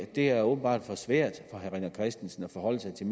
det er åbenbart for svært for herre rené christensen at forholde sig til